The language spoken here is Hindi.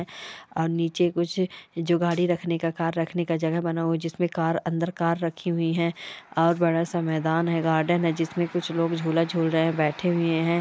और नीचे कुछ जो गाड़ी रखने का कार रखने जगह बना हुआ है जिसमे कार अंदर कार रखी हुई है और बड़ा सा मैदान है गार्डन है जिसमें कुछ लोग झूला झूल रहे हैं बैठे हुए हैं।